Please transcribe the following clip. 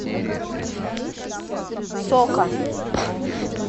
сока